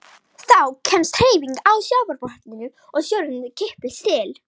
Þá kemst hreyfing á sjávarbotninn og sjórinn kippist til.